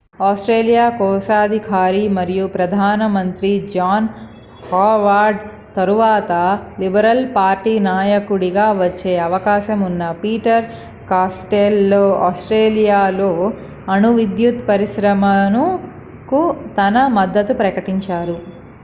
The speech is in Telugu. ఆస్ట్రేలియా కోశాధికారి మరియు ప్రధాన మంత్రి జాన్ హోవార్డ్ తరువాత లిబరల్ పార్టీ నాయకుడిగా వచ్చే అవకాశం ఉన్న పీటర్ కాస్టెల్లో ఆస్ట్రేలియాలో అణు విద్యుత్ పరిశ్రమకు తన మద్దతును ప్రకటించారు